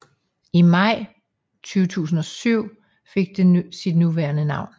I maj 2007 fik det sit nuværende navn